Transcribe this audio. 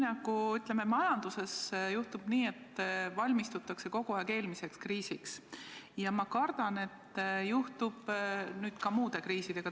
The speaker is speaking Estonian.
Ma kardan, et nii nagu majanduses juhtub, et kogu aeg valmistutakse eelmiseks kriisiks, juhtub nüüd ka muude kriisidega.